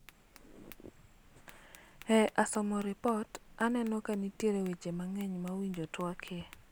eeh, asomo ripot aneno ka nitiere weche mang'eny ma owinjo twakie